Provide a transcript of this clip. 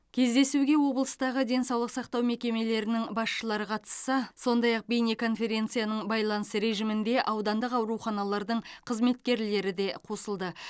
кездесуге облыстағы денсаулық сақтау мекемелерінің басшылары қатысса сондай ақ бейнеконференцияның байланыс режимінде аудандық ауруханалардың қызметкерлері де қосылды